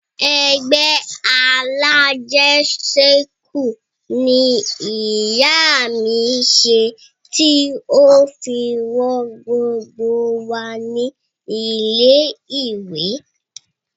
Ẹgbẹ́ alájẹṣẹ́kù ni ìyá mi ṣe tí ó fi rán gbogbo wa ní ilé ìwé